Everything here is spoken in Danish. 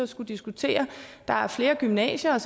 skulle diskutere at der er flere gymnasier